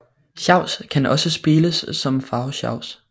Sjavs kan også spiles som farvesjavs